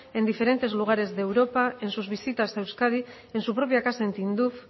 en diferentes lugares de europa en sus visitas a euskadi en su propia casa en tinduf